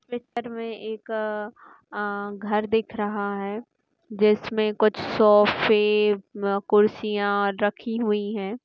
में एक अ अ-घर दिख रहा है जिसमे कुछ सोफ़े अह कुर्सिया रखी हुई है।